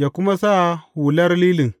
yă kuma sa hular lilin.